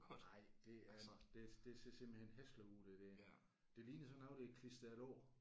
Nej det er det det ser simpelthen hæsligt ud det der. Det ligner sådan noget der er klistret over